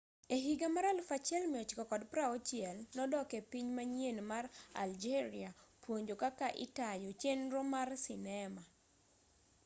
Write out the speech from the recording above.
ehiga mar 1960 nodok epiny manyien mar algeria puonjo kaka itayo chenro mar sinema